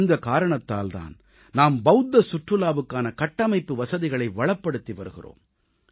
இந்தக் காரணத்தால் தான் நாம் பவுத்த சுற்றுலாவுக்கான கட்டமைப்பு வசதிகளை வளப்படுத்தி வருகிறோம்